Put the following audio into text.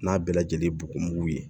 N'a bɛɛ lajɛlen bugun ye